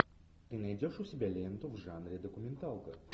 ты найдешь у себя ленту в жанре документалка